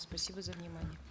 спасибо за внимание